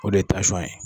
O de ye ye